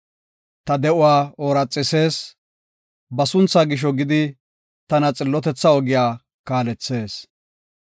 Ta de7uwa ooraxisees; ba sunthaa gisho gidi, tana xillotetha ogiya kaalethees.